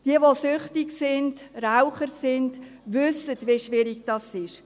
Diejenigen, welche süchtig sind, die Raucher sind, wissen, wie schwierig es ist.